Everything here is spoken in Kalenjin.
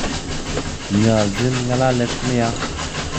Nyoljin ngalalet nia